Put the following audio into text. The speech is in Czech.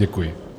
Děkuji.